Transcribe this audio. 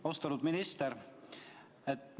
Austatud minister!